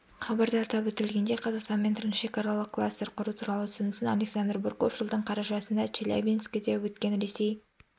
хабарда атап өтілгендей қазақстанмен трансшекаралық кластер құру туралы ұсынысын александр бурков жылдың қарашасында челябинскіде өткен ресей